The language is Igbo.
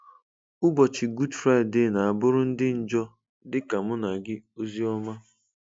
Ụbọchị Gud Fraịde na-abụrụ ndị njọ dịka mụ na gị ozi ọma